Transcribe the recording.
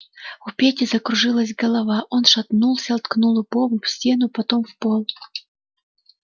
у пети закружилась голова он шатнулся ткнул лбом в стену потом в пол